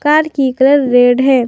Car की colour red है।